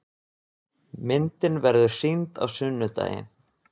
Myndin verður sýnd á sunnudaginn.